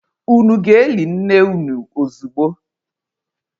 Unu aga-eli nne unu ozogbu?